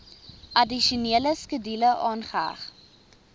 addisionele skedule aangeheg